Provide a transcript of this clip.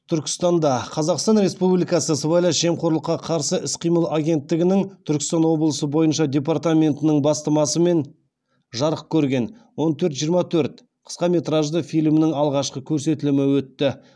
түркістанда қазақстан республикасы сыбайлас жемқорлыққа қарсы іс қимыл агенттігінің түркістан облысы бойынша департаментінің бастамасымен жарық көрген он төрт жиырма төрт қысқаметражды фильмнің алғашқы көрсетілімі өтті